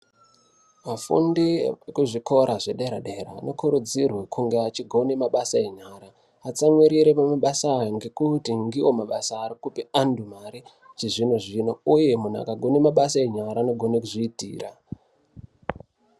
Vafundi vekuzvikora zvedera-dera, vanokurudzirwe kunge achigone mabasa enyara, atsamwirire mumabasa aya, ngekuti ndiwo mabasa ari kupe antu mare chizvino-zvino, uye muntu akagone mabasa enyara anogone kuzviitira.